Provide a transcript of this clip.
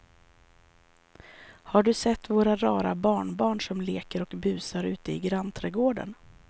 Har du sett våra rara barnbarn som leker och busar ute i grannträdgården!